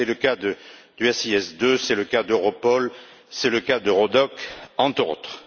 C'est le cas du SIS 2, c'est le cas d'Europol, c'est le cas d'Eurodoc, entre autres.